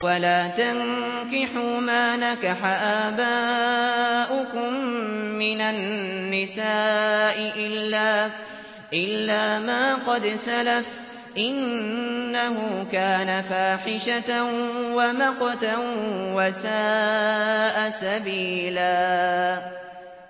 وَلَا تَنكِحُوا مَا نَكَحَ آبَاؤُكُم مِّنَ النِّسَاءِ إِلَّا مَا قَدْ سَلَفَ ۚ إِنَّهُ كَانَ فَاحِشَةً وَمَقْتًا وَسَاءَ سَبِيلًا